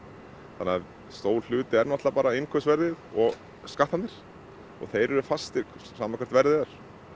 þannig að stór hluti er náttúrulega bara innkaupsverð og skattarnir og þeir eru fastir sama hvert verðið er